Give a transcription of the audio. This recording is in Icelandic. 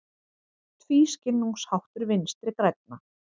Tvískinnungsháttur Vinstri grænna